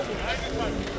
Aysu var idi.